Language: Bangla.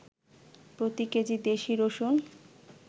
প্রতি কেজি দেশি রসুন